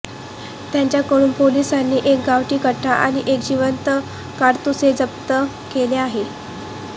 त्यांच्याकडून पोलिसांनी एक गावठी कट्टा आणि एक जिवंत काडतुसे जप्त केले आहे